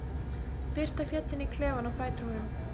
Birta féll inn í klefann á fætur honum.